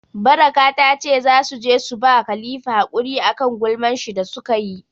Baraka ta ce za su je su ba Khalifa hakuri a kan gulman shi da su ka yi.